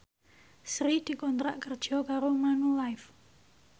Sri dikontrak kerja karo Manulife